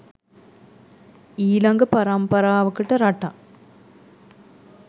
ඊලඟ පරම්පරාවකට රටක්